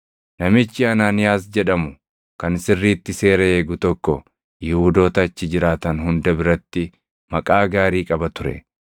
“Namichi Anaaniyaas jedhamu kan sirriitti seera eegu tokko Yihuudoota achi jiraatan hunda biratti maqaa gaarii qaba ture.